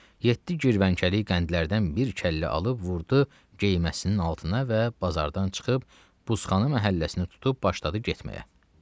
Yeddi girvənkəlik qəndlərdən bir kəllə alıb vurdu geyməsinin altına və bazardan çıxıb buzxana məhəlləsini tutub başladı getməyə.